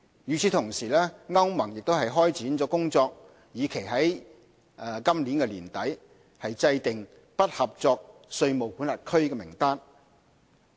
與此同時，歐盟已開展工作，以期於今年年底制訂"不合作稅務管轄區"名單。